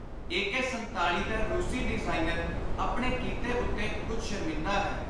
AK. 47 ਦਾ ਰੁਸੀ designer ਆਪਣੇ ਕੀਤੇ ਉੱਤੇ ਕੁਝ ਸ਼ਰਮਿੰਦਾ ਹੈ।